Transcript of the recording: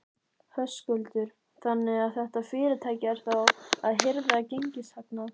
Höskuldur: Þannig að þetta fyrirtæki er þá að hirða gengishagnað?